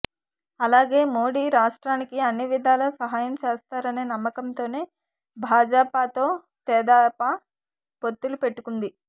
అలాగే మోడీ రాష్ట్రానికి అన్నివిధాల సహాయం చేస్తారనే నమ్మకంతోనే భాజపాతో తెదేపా పొత్తులు పెట్టుకొంది